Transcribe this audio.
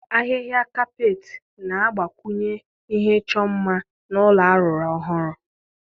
Ahịhịa kapeeti ga-agbakwunye ihe ịchọ mma n'ụlọ arụrụ ọhụrụ.